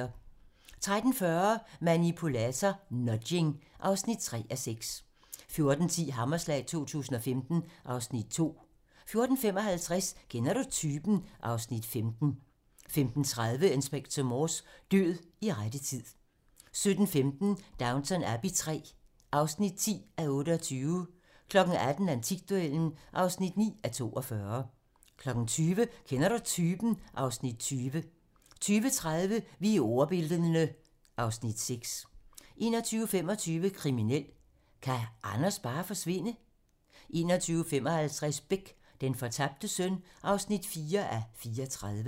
13:40: Manipulator - Nudging (3:6) 14:10: Hammerslag 2015 (Afs. 2) 14:55: Kender du typen? (Afs. 15) 15:30: Inspector Morse: Død i rette tid 17:15: Downton Abbey III (10:28) 18:00: Antikduellen (9:42) 20:00: Kender du typen? (Afs. 20) 20:30: Vi er ordbildne (Afs. 6) 21:25: Kriminelt: Kan Anders bare forsvinde? 21:55: Beck: Den fortabte søn (4:34)